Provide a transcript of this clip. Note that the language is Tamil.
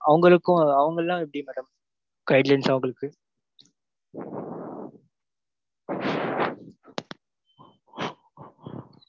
அவங்களுக்கும் அவங்கயெல்லாம் எப்படி madam guidelines அவங்களுக்கு